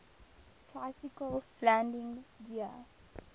tricycle landing gear